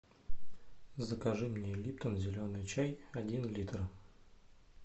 закажи мне липтон зеленый чай один литр